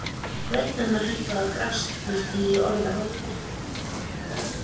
Rödd mömmu hækkaði og brast næstum á orðinu rotta